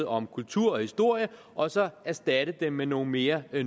om kultur og historie og så erstatte dem med nogle mere